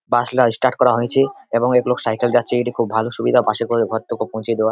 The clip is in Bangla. বাস -লা স্টার্ট করা হয়েছেএবং এক লোক সাইকেল যাচ্ছে এটা এটি খুব ভালো সুবিধা বাস -এ করে ঘর টুকু পৌঁছে দেওয়া ।